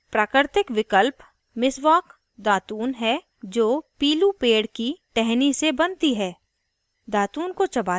* अच्छी साँस पाने के लिए और कीटाणुओं से छुटकारा पाने के लिए जीभ को भी brush करें